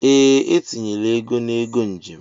Ee, etinyele ego na ego njem